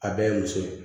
A bɛɛ ye muso ye